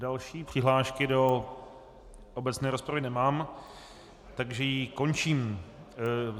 Další přihlášky do obecné rozpravy nemám, takže ji končím.